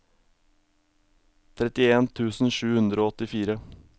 trettien tusen sju hundre og åttifire